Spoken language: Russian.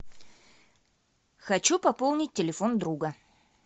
хочу пополнить телефон друга